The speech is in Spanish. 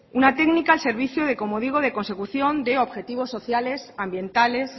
una técnica al servicio de como digo consecución de objetivos sociales ambientales